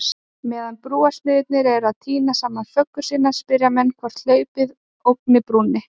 Meðan brúarsmiðirnir eru að týna saman föggur sínar, spyrja menn hvort hlaupið ógni brúnni?